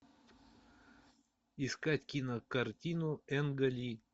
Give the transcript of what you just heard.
искать кинокартину энга ли